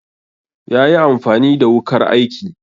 yayi amfani the wukar aiki